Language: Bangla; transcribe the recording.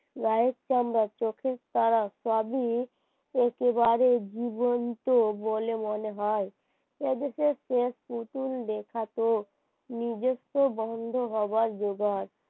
like চান্দা চোখের তারা সবই একেবারে জীবন্ত বলে মনে হয় নতুন দেখাতো নিজের তো বন্ধ হবার যোগার